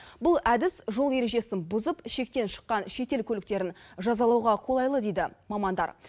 бұл әдіс жол ережесін бұзып шектен шыққан шетел көліктерін жазалауға қолайлы дейді мамандар